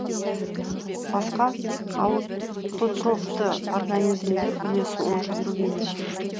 басқа аутотрофты организмдер үлесі онша көп емес